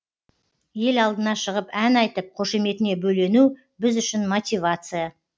ел алдына шығып ән айтып қошеметіне бөлену біз үшін мотивация